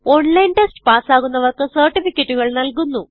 online test പാസ്സാകുന്നവർക്ക് സർട്ടിഫികറ്റുകൾ നല്കുന്നു